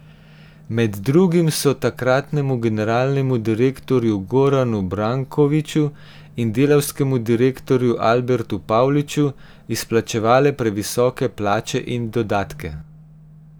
Med drugim so takratnemu generalnemu direktorju Goranu Brankoviču in delavskemu direktorju Albertu Pavliču izplačevale previsoke plače in dodatke.